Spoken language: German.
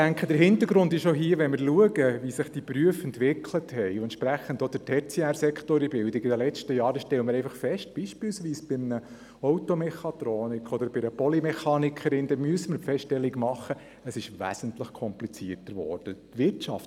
Wenn man schaut, wie sich die Berufe in den letzten Jahren entwickelt haben – dazu gehört auch der tertiäre Sektor in der Bildung –, stellt man fest, dass es beispielsweise für einen Automechatroniker oder eine Polymechanikerin wesentlich komplizierter geworden ist.